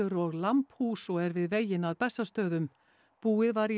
og lambhús og er við veginn að Bessastöðum búið var í